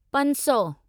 पंज सौ